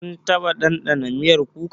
Kun taɓa dandana miyar kuka?